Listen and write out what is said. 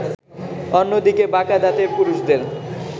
অন্যদিকে বাঁকা দাঁতের পুরুষদের